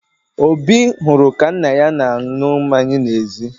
Obi hụrụ ka nna ya na-aṅụ mmanya n'ezi